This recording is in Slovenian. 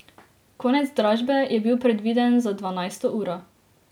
Konec dražbe je bil predviden za dvanajsto uro.